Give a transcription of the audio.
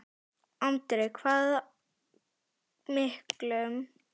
Andri: Hvað miklum?